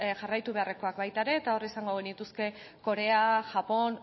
jarraitu beharrekoak baita ere eta hor izango genituzke korea japon